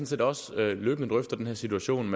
set også løbende drøfter den her situation